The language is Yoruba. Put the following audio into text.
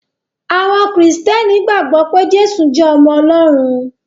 Àwọn Kristiani gbàgbó pé Jésù jé ọmọ Olórun.